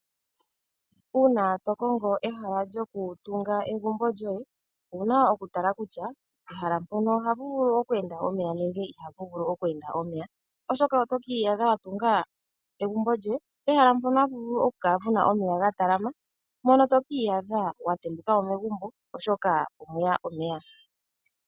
Uuna to kongo ehala lyoku tunga egumbo lyoye, owuna oku tala kutya pehala mpono ohapu vulu okweenda omeya nenge ihapu vulu okweenda omeya, oshoka oto ki iyadha wa tunga egumbo lyoye pehala mpono hapu vulu oku kala puna omeya ga talama, mono to ki iyadha wa tembuka mo megumbo oshoka omuna omeya.